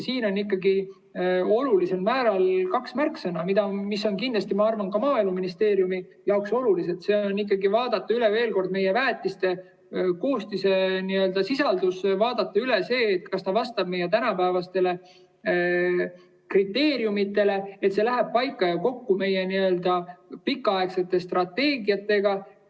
Siin on ikkagi olulised kaks märksõna, mis on kindlasti, ma arvan, ka Maaeluministeeriumi jaoks olulised: vaadata üle veel kord väetiste koostis, vaadata üle, kas see vastab tänapäevastele kriteeriumidele ja kas see läheb kokku meie pikaaegsete strateegiatega.